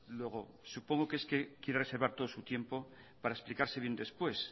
luego supongo que es que quiere reservar todo su tiempo para explicarse bien después